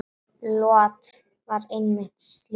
Lot var einmitt slíkur maður.